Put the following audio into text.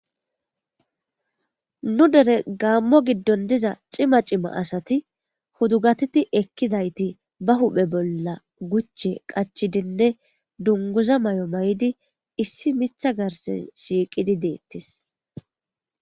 Nu Deere Gamo gidon doza cima cima asati hudugatidi ekidayti na huphe bolla guche qachifinne dunguza mayo mayidi issi Mitha garse shiqidi deetes.